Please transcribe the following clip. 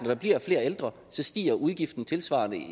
der bliver flere ældre så stiger udgifterne tilsvarende